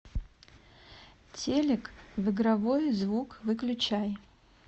телек в игровой звук выключай